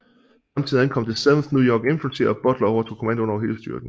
Samtidig ankom det 7th New York Infantry og Butler overtog kommandoen over hele styrken